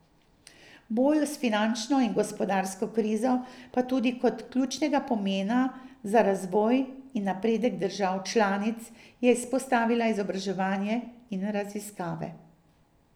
V boju s finančno in gospodarsko krizo, pa tudi kot ključnega pomena za razvoj in napredek držav članic, je izpostavila izobraževanje in raziskave.